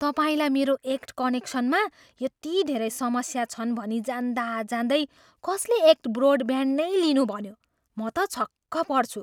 तपाईँलाई मेरो एक्ट कनेक्सनमा यति धेरै समस्या छन् भनी जान्दाजान्दै कसले एक्ट ब्रोडब्यान्ड नै लिनु भन्यो? म त छक्क पर्छु।